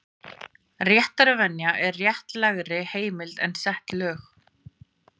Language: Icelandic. Réttarvenja er réttlægri heimild en sett lög.